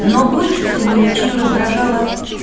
но больше всего лючию раздражало